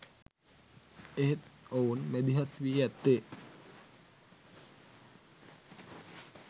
එහෙත් ඔවුන් මැදිහත් වී ඇත්තේ